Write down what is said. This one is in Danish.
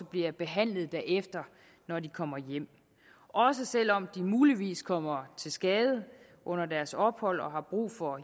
bliver behandlet derefter når de kommer hjem også selv om de muligvis kommer til skade under deres ophold og har brug for